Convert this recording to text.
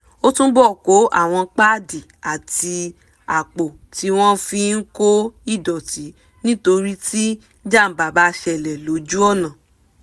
ó túbọ̀ kó àwọn páàdì àti àpò tí wọ́n fi ń kó ìdọ̀tí nítorí tí jàǹbá bá ṣẹlẹ̀ lójú ọ̀nà